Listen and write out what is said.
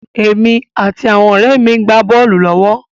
Èmi àti àwọn ọ̀rẹ́ mi gbá bọ́ọ̀lù lọ́wọ́.